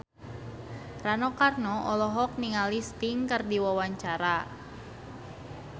Rano Karno olohok ningali Sting keur diwawancara